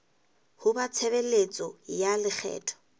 ho ba tshebeletso ya lekgetho